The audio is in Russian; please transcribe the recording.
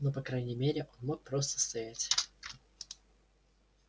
но по крайней мере он мог просто стоять